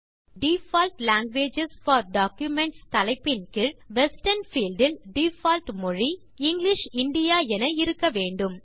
இப்போது default languages for documents தலைப்பின் கீழ் வெஸ்டர்ன் பீல்ட் இல் டிஃபால்ட் மொழி இங்கிலிஷ் இந்தியா என இருக்க வேண்டும்